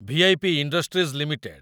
V I P industries limited